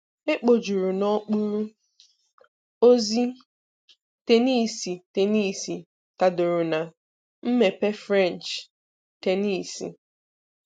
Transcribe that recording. Ekpojuru n'okpuru: ozi, Tenisi Tenisi tadoro na:mmepe French, tenisi.